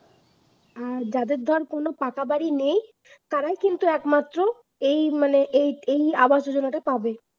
আর যাদের ধর কোন পাকা বাড়ি নেই তাদের কিন্তু একমাত্র এই মানে এই এই আবাস যোজনাটা পাবে